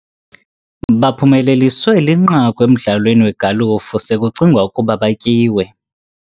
Baphumeleliswe linqaku emdlalweni wegalufu sekucingwa ukuba batyiwe..